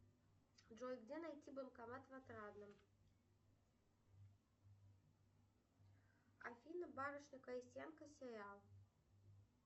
джой где найти банкомат в отрадном афина барышня крестьянка сериал